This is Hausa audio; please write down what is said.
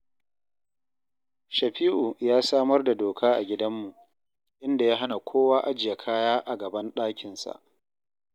Shafi’u ya samar da doka a gidanmu, inda ya hana kowa ajiye kaya a gaban ɗakinsa